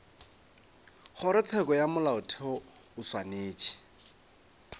kgorotsheko ya molaotheo o swanetše